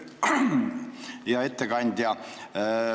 Hea ettekandja!